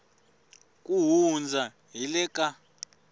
ku hundza hi le ka